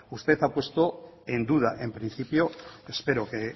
usted ha puesto en duda en principio espero que